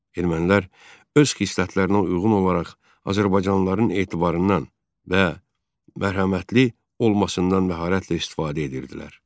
Ermənilər öz xislətlərinə uyğun olaraq azərbaycanlıların etibarından və mərhəmətli olmasından məharətlə istifadə edirdilər.